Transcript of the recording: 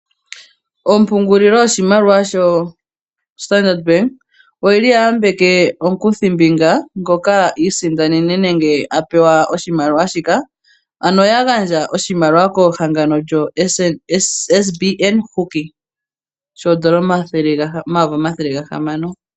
Ompungulilo yoshimaliwa shoStandard Bank oyili yayambeke omukuthimbinga ngoka iisindanene nenge apewa oshimaliwa shika, ano oya gandja oshimaliwa kehangano lyoSBN Hockey shoondola omayovi omathele gahamano.